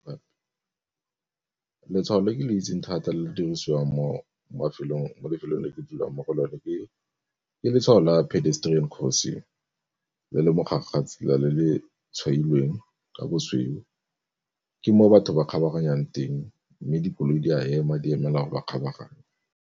Letshwao le ke le itseng thata le le dirisiwang mo lefelong le ke dulang mo go lone ke, ke letshwao la pedestrian crossing le le mogare ga tsela le le tshwailweng ka bosweu. Ke moo batho ba kgabaganyang teng, mme dikoloi di a ema di emela gore ba kgabaganye.